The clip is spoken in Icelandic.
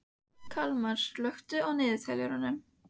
Kalmar, slökktu á niðurteljaranum.